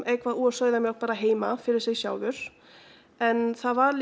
eitthvað úr sauðamjólk bara heima fyrir sig en það var